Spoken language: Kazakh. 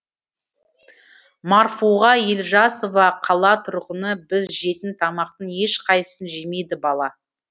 марфуға елжасова қала тұрғыны біз жейтін тамақтың ешқайсысын жемейді бала